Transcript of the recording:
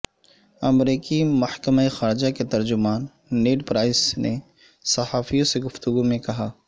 امریکی محکمہ خارجہ کے ترجمان نیڈ پرائس نے صحافیوں سے گفتگو میں کہا